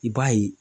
I b'a ye